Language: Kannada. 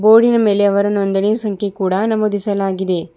ಬೋರ್ಡಿ ನ ಮೇಲೆ ಅವರ ನೊಂದಣಿಯು ಸಂಖ್ಯೆ ಕೂಡ ನಮೋದಿಸಲಾಗಿದೆ.